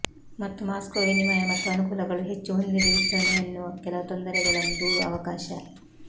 ಮತ್ತು ಮಾಸ್ಕೋ ವಿನಿಮಯ ಮತ್ತು ಅನುಕೂಲಗಳು ಹೆಚ್ಚು ಹೊಂದಿದೆ ವಿಸ್ತರಣೆಯನ್ನೂ ಕೆಲವು ತೊಂದರೆಗಳನ್ನು ದೂರು ಅವಕಾಶ